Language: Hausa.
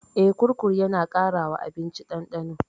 Eh, kurkur yana ƙara wa abinci ɗandano.